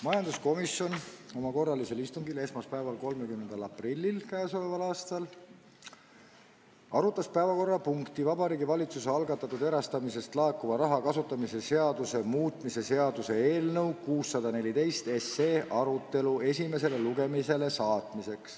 Majanduskomisjon arutas esmaspäeval, 30. aprillil k.a oma korralisel istungil Vabariigi Valitsuse algatatud erastamisest laekuva raha kasutamise seaduse muutmise seaduse eelnõu 614, et saata see esimesele lugemisele.